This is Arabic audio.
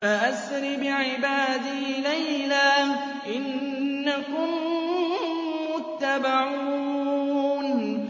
فَأَسْرِ بِعِبَادِي لَيْلًا إِنَّكُم مُّتَّبَعُونَ